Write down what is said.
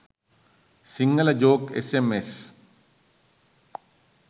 sinhala joke sms